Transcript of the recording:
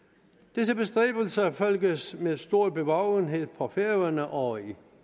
disse bestræbelser følges med stor bevågenhed på færøerne og i